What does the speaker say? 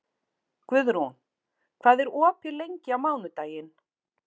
Guðrún, hvað er opið lengi á mánudaginn?